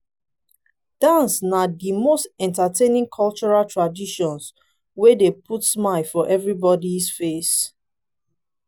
dance na di most entertaining cultural traditions wey dey put smile for everybody's face.